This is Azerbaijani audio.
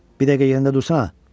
Bir dəqiqə yerində dursana.